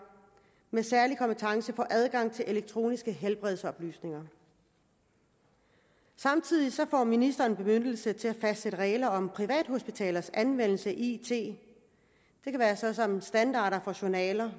med særlig kompetence får adgang til elektroniske helbredsoplysninger samtidig får ministeren bemyndigelse til at fastsætte regler om privathospitalers anvendelse af it det kan være sådan standarder for journaler